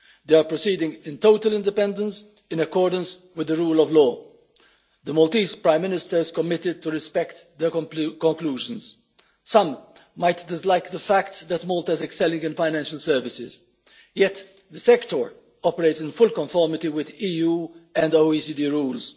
They are proceeding in total independence, in accordance with the rule of law. The Maltese Prime Ministers has committed to respect their conclusions. Some might dislike the fact that Malta is excelling in financial services, yet the sector operates in full conformity with EU and OECD rules.